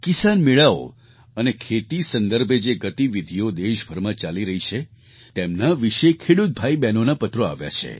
કિસાન મેળાઓ અને ખેતી સંદર્ભે જે ગતિવિધિઓ દેશભરમાં ચાલી રહી છે તેમના વિશે ખેડૂત ભાઈબહેનોના પત્રો આવ્યા છે